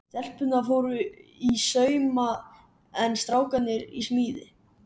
Stelpurnar fóru í sauma en strákarnir í smíðar.